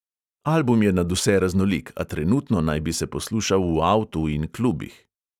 Album je nadvse raznolik, a trenutno naj bi se poslušal v avtu in klubih.